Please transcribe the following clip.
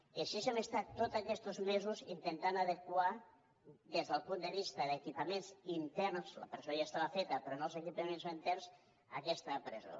i així hem estat tots aquests mesos intentant adequar des del punt de vista d’equipaments interns la presó ja estava feta però no els equipaments interns aquesta presó